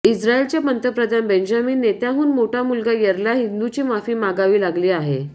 इस्त्रायलचे पंतप्रधान Benjamin Netanyahu मोठा मुलगा यैरला हिंदूची माफी मागावी लागली आहे